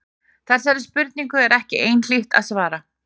Þessari spurningu er ekki einhlítt að svara.